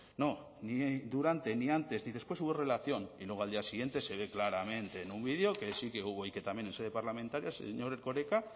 no ni durante ni antes ni después hubo relación y luego al día siguiente se ve claramente en un vídeo que sí que hubo y que también en sede parlamentaria el señor erkoreka